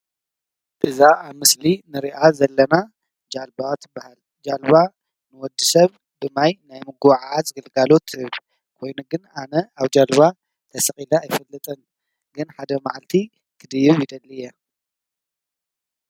እዛ ኣብ ምስሊ ንሪኣ ዘለና ጃልባ ትበሃል። ጃልባ ንወድሰብ ብማይ ናይ ምጉዕዓዝ ግልጋሎት ትህብ ኮይኑ ግን ኣነ ኣብ ጃልባ ተሰቂለ ኣይፈልጥን ግን ሓደ መዓልቲ ክድይብ ይደሊ እየ ።